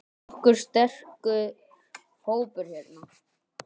Nokkuð sterkur hópur hérna.